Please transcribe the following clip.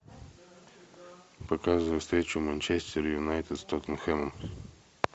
показывай встречу манчестер юнайтед с тоттенхэмом